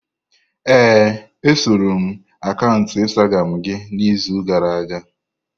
Ee, esoro m akaụntụ Instagramu gị n'izu gara aga.